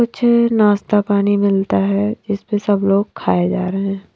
कुछ नाश्ता पानी मिलता है इस पे सब लोग खाए जा रहे हैं।